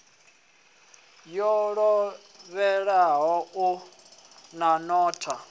yo ḓoweleaho na u notha